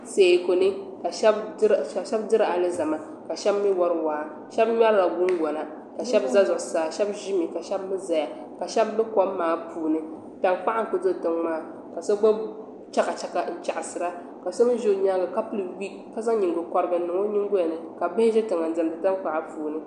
Teekuni ka shɛbi diri alizama ka shɛbi mi wari waa shɛbi ŋmerila gungona ka shɛbi za zuɣu saa shɛbi ʒimi ka shɛbi zaya ka shɛbi be kom maa puuni tankpaɣu ku do tiŋmaa ka gbubi chakachaka n chaɣasira ka so mi ʒi o nyaaŋa ka pili biip ka zaŋ nyingokɔrigu niŋ o nyingoli ni ka bihi ʒi tiŋa n diɛmdi tankpaɣu.